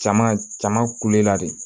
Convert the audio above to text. Jama jama kulela de